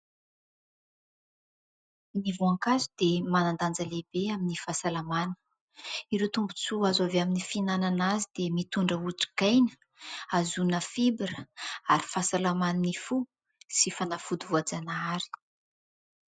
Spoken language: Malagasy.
ny voankazo dia manan-danja lehibe amin'ny fahasalamana. Ireo tombotsoa azo avy amin'ny fihinanana azy dia mitondra hotrikaina azahoana fibra ary fahasalaman'ny fo sy fanafody voajanahary.